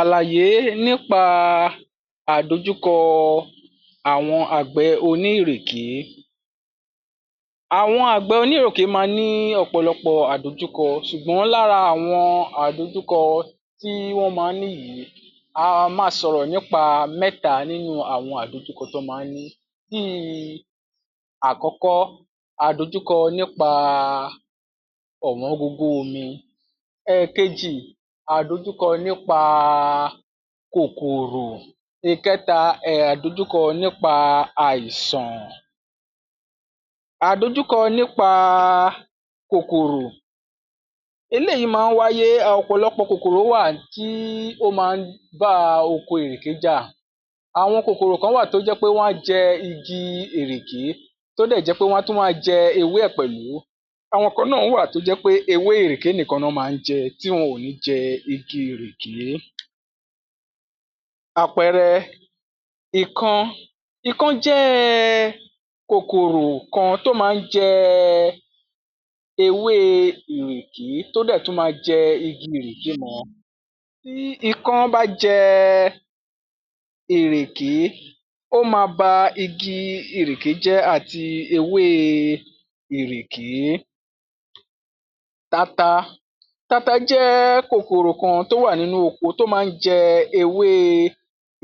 Àlàyé nípa àdojúkọ àwọn àgbẹ̀ onírèké. Àwọn àgbẹ̀ onírèké ma ní ọ̀pọ̀lọpọ̀ àdojúkọ ṣùgbọ́n lára àwọn àdojúkọ tí wọ́n máa ń ní yìí, a máa sọ̀rọ̀ nípa mẹ́ta nínú àwọn àdojúkọ tán máa ń ní. Bíi àkọ́kọ́ àdojúkọ nípa ọ̀wọ́ngógó omi, ẹ̀keji nípa kòkòrò, ìkẹta, àdojúkọ nípa àìsàn. Àdojúkọ nípa kòkòrò, eléyìí máa ń wáyé, ọ̀pọ̀lọpọ̀ kòkòrò wà tí ó máa ń bá oko ìrèké jà. Àwọn kòkòrò kan wà tó jẹ́ pé wọ́n á jẹ igi ìrèké tó dẹ̀ jẹ́ pé wọ́n á tún wá jẹ ewé ẹ̀ pẹ̀lú. Àwọn kan náà wà tó jẹ́ pé ewé ìrèké nìkan ná máa ń jẹ tí wọn ò ní jẹ igi ìrèké. Àpẹẹrẹ, ikán. Ikán jẹ́ kòkòrò kan tó máa ń jẹ ewé ìrèké tó dẹ̀ tún ma jẹ igi ìrèké mọ́ ọn. Bí ikán bá jẹ ìrèké, ó ma ba igi ìrèké jẹ́ àti ewé ìrèké. Tata, tata jẹ́ kòkòrò kan tó wà nínú oko tó máa ń jẹ ewé